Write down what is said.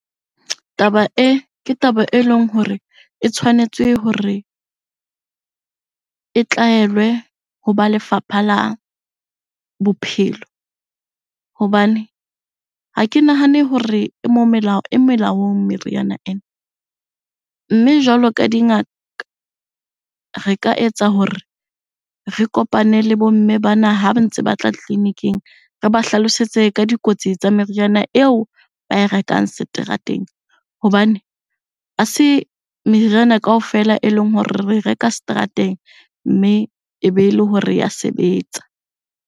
Taba e, ke taba e leng hore e tshwanetse hore e tlaelwe ho ba lefapha la bophelo. hHbane ha ke nahane hore e e melaong meriana ena. Mme jwalo ka dingaka, re ka etsa hore re kopane le bo mme bana ha ba ntse batla tleliniking. Re ba hlalosetse ka dikotsi tsa meriana eo ba e rekang seterateng hobane ha se meriana kaofela e leng hore re reka seterateng mme e be le hore ya sebetsa.